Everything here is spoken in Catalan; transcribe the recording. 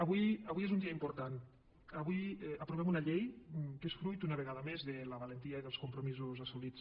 avui és un dia important avui aprovem una llei que és fruit una vegada més de la valentia i dels compromisos assolits